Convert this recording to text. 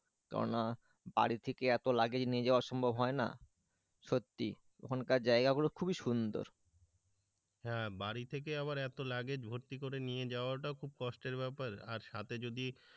কেননা বাড়ি থেকে এত লাগেজ নিয়ে যাওয়া সম্ভব হয় না সত্যি তখনকার জায়গা গুলো খুবই সুন্দর হ্যাঁ বাড়ি থেকে আবার এত লাগে ভর্তি করে নিয়ে যাওয়াটাও খুব কষ্টের ব্যাপার আর সাথে যদি,